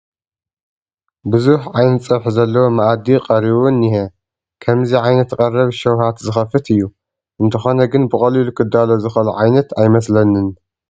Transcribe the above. ብዙሕ ዓይነት ፀብሒ ዘለዎ መኣዲ ቀሪቡ እኒሀ፡፡ ከምዚ ዓይነት ቀረብ ሽውሃት ዝኸፍት እዩ፡፡ እንተኾነ ግን ብቐሊሉ ክዳሎ ዝኽእል ዓይነት ኣይመስለንን፡፡